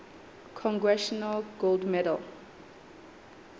congressional gold medal